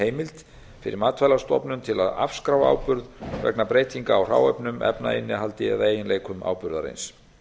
heimild fyrir matvælastofnun til að afskrá áburð vegna breytinga á hráefnum efnainnihaldi eða eiginleikum áburðarins